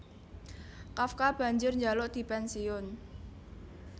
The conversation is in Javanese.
Kafka banjur njaluk dipènsiyun